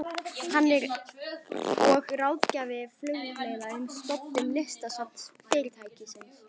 Hann er og ráðgjafi Flugleiða um stofnun listasafns fyrirtækisins.